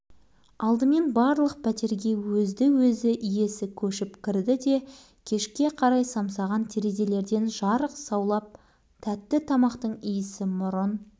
әне-міне дегенше бәрі де біртін-біртін ретке келе бастады бітті жаңа қоныс иелерінің көңілі жай тапты енді